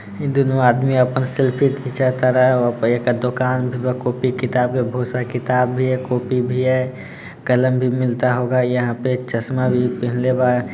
इ दुनो आदमी आपन सेल्फी खिंचतारन ओपे एकर दुकान भी बा कॉपी किताब के बहुत सारा किताब भी है कॉपी भी है कलम भी मिलता होगा यहाँ पे एक चश्मा भी पेहेनले बा।